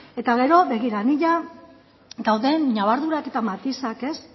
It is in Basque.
ez eta gero begira ni ia dauden ñabardurak eta matizak